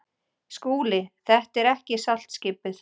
SKÚLI: Þetta er ekki saltskipið.